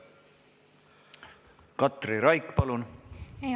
Katri Raik, palun!